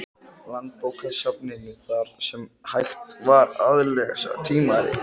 Landsbókasafninu, þar sem hægt var að lesa tímaritin.